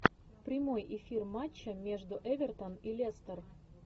прямой эфир матча между эвертон и лестер